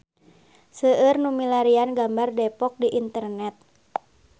Seueur nu milarian gambar Depok di internet